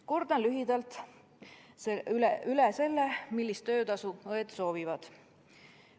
Kordan lühidalt üle selle, millist töötasu õed soovivad.